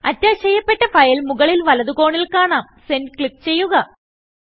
attach ചെയ്യപ്പെട്ട file മുകളിൽ വലതു കോണിൽ കാണാം Sendക്ലിക്ക് ചെയ്യുക